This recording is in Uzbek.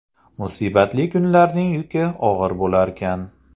Musibatli kunlarning yuki og‘ir bo‘larkan.